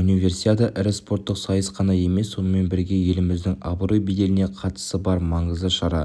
универсиада ірі спорттық сайыс қана емес сонымен бірге еліміздің абырой-беделіне қатысы бар маңызды шара